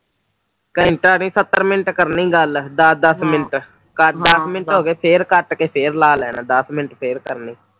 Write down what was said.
ਘੰਟਾ ਨੀ ਸੱਤਰ ਮਿੰਟ ਕਰਨੀ ਗੱਲ ਦਸ ਦਸ ਮਿੰਟ ਦਸ ਮਿੰਟ ਹੋ ਗਈ ਕੱਟ ਕੇ ਫਿਰ ਲਾ ਲੈਣਾ ਦਸ ਮਿੰਟ ਫਿਰ ਕਰਨੇ